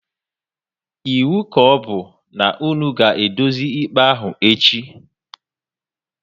Ịwu ka ọbụ na-unu ga edozi ikpe ahụ echi!